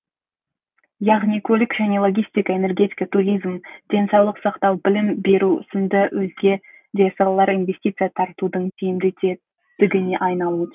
яғни көлік және логистика энергетика туризм денсаулық сақтау білім беру сынды өзге де салалар инвестиция тартудың тиімді тетігіне айналуы тиіс